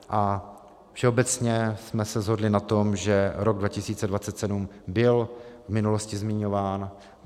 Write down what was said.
A všeobecně jsme se shodli na tom, že rok 2027 byl v minulosti zmiňován.